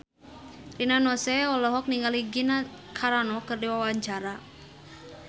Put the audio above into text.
Rina Nose olohok ningali Gina Carano keur diwawancara